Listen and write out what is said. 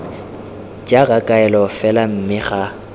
jaaka kaelo fela mme ga